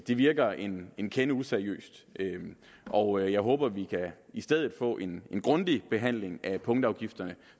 det virker en en kende useriøst og jeg håber vi i stedet kan få en grundig behandling af punktafgifterne